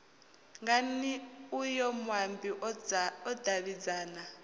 ngani uyo muambi o davhidzana